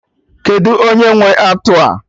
Kedụ onye nwe atụ a?